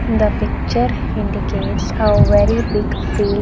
In the picture indicates a very big field.